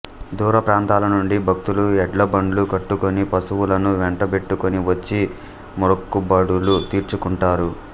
దూరప్రాంతాలనుండి భక్తులు ఎడ్లబండ్లు కట్టుకొని పశువులను వెంటబెట్టుకొని వచ్చి మ్రొక్కుబడులు తీర్చుకుంటారు